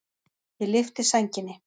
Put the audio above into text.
Ég lyfti sænginni.